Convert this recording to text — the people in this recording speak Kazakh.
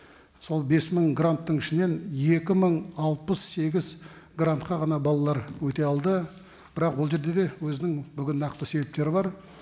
сол бес мың гранттың ішінен екі мың алпыс сегіз грантқа ғана балалар өте алды бірақ ол жерде де өзінің бүгін нақты себептері бар